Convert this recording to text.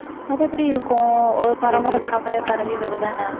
அது எப்படி இருக்கும் ஒரு பரம்பரை பரம்பரையா பரவி வரதானே